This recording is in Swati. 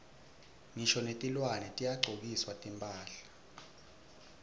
ngisho netilwane tiyagcokiswa timphahla